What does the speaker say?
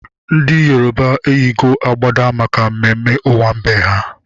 Ndị Yoroba eyigo agbada maka mmemme owambe ha